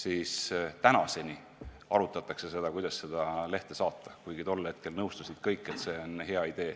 Kuid tänaseni arutatakse, kuidas seda lehte saata, ehkki tol hetkel nõustusid kõik, et see on hea idee.